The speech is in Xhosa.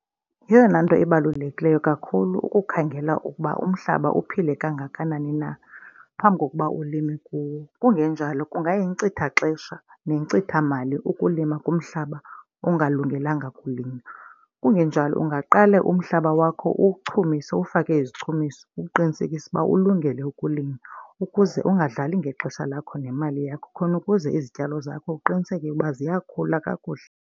Yeyona nto ibalulekileyo kakhulu ukukhangela ukuba umhlaba uphile kangakanani na phambi kokuba ulime kuwo. Kungenjalo kungayinkcitha xesha nencitha imali ukulima kumhlaba ongalungelanga kulinywa. Kungenjalo ungaqale umhlaba wakho uwuchumise uwufake izichumiso, ukuqinisekisa ukuba ukulungele ukulima ukuze ungadlali ngexesha lakho nemali yakho khona ukuze izityalo zakho uqiniseke uba ziyakhula kakuhle.